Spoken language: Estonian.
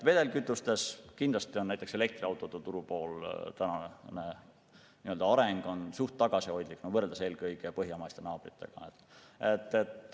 Vedelkütuste on näiteks elektriautode turupoolel tänane areng suhteliselt tagasihoidlik, võrreldes eelkõige meie põhjamaiste naabritega.